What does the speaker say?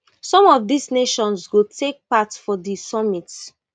some of dis nations go take part for di summit